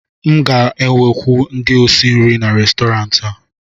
m ga-ewekwu ndị osi nri n'Restọrantị a